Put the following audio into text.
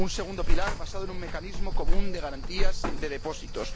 un segundo pilar basado en un mecanismo común de garantías de depósitos